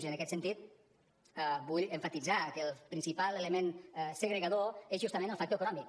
i en aquest sentit vull emfatitzar que el principal element segregador és justament el factor econòmic